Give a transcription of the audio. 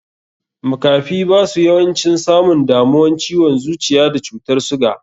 Makafi basu yawancin samun damuwan ciwon zuciya da cutar suga.